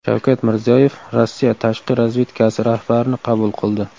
Shavkat Mirziyoyev Rossiya tashqi razvedkasi rahbarini qabul qildi.